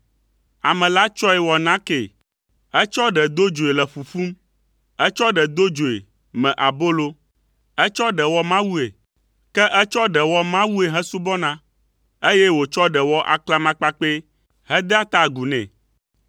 Ame la tsɔe wɔ nakee. Etsɔ ɖe do dzoe le ƒuƒum. Etsɔ ɖe do dzoe, me abolo. Etsɔ ɖe wɔ mawue. Ke etsɔ ɖe wɔ mawue hesubɔna, eye wòtsɔ ɖe wɔ aklamakpakpɛ hedea ta agu nɛ.